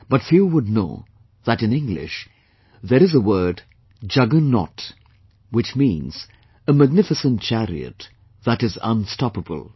But few would know that in English, there is a word, 'juggernaut' which means, a magnificent chariot, that is unstoppable